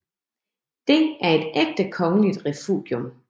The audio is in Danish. Det er et ægte kongeligt refugium